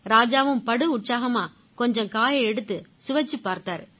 ராஜாவும் படு உற்சாகமா கொஞ்சம் காயை எடுத்து சுவைச்சுப் பார்த்தாரு